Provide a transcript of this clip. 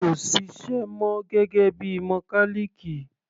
Kò ṣiṣẹ́ mọ gẹ́gẹ́ bíi mọkálìkì.